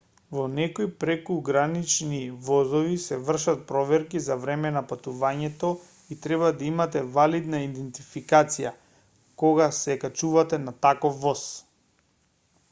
во некои прекугранични возови се вршат проверки за време на патувањето и треба да имате валидна идентификација кога се качувате на таков воз